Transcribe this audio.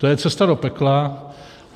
To je cesta do pekla.